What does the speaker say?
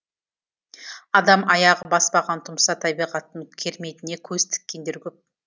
адам аяғы баспаған тұмса табиғаттың керметіне көз тіккендер көп